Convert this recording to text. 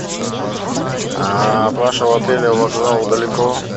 а от вашего отеля вокзал далеко